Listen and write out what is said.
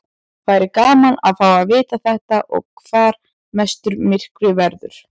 Væri gaman að fá að vita þetta og hvar mestur myrkvi verður.